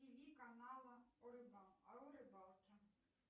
тв канала о рыбалке